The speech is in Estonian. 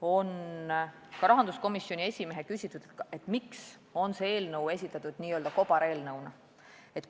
oli ka rahanduskomisjoni esimehe küsitud: miks on see eelnõu esitatud kobareelnõuna?